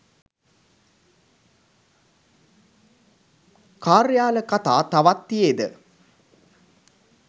කාර්‍යාල කතා තවත් තියේද